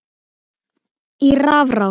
í rafrás